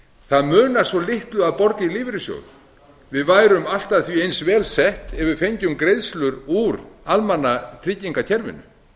það munar svo litlu að borga í lífeyrissjóðinn við værum allt að því eins vel sett ef við fengjum greiðslur úr almannatryggingakerfinu